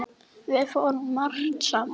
Við fórum margt saman.